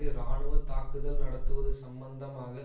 இராணுவ தாக்குதல் நடத்துவது சம்பந்தமாக